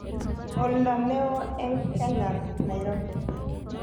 oldo ne oo eng Kenya Nairobi